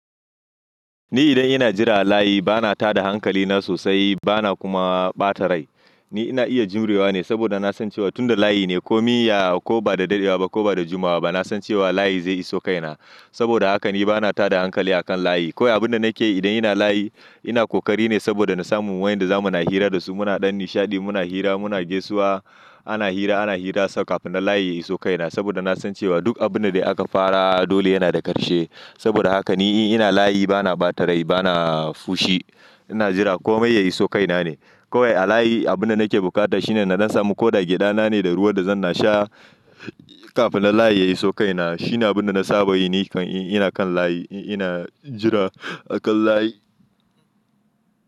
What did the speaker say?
Ni idan ina jira layi bana tada hankali na sosai bana kuma ɓata rai. Ni ina iya jimrewa ne saboda na san cewa tunda layi ne ko miya ko ba da daɗewa ba ko ba da jimawa ba. Na san cewa layi zai iso kaina. Saboda haka ni bana tada hankali a kan layi. Kowai abin da nake yi idan ina layi ina ƙoƙari ne saboda na samu wayanda zamu na hira da su. Muna ɗan nishaɗi, muna hira, muna gaisuwa, ana hira, ana hira sau kafin na layi yayi iso kaina. Saboda na san cewa duk abin da aka fara dole yana da ƙarshe. Saboda haka ni ina layi bana ɓata rai bana fushi. Ina jira komai yayi iso kaina ne. Kowai a layi abin da nake bukata shine na samu ko da giɗa na ne da ruwa da zan sha kafin na layi yayi iso kaina. Shi ne abin da na saba yi ni kan ina kan layi ina jira a kan layi.